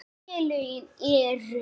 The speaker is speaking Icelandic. Félögin eru